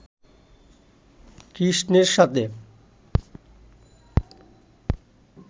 কৃষ্ণের সাথে